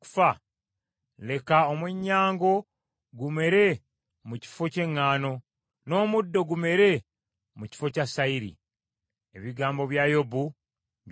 leka omwennyango gumere mu kifo ky’eŋŋaano, n’omuddo oguwunya gumere mu kifo kya sayiri.” Ebigambo bya Yobu byakoma wano.